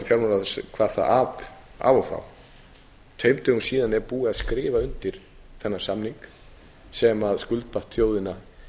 það af og frá tveimur dögum síðar er búið að skrifa undir þennan samning sem skuldbatt þjóðina